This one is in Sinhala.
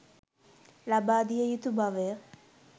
ලබාදිය යුතු බවය